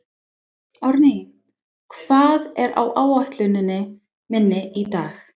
Árný, hvað er á áætluninni minni í dag?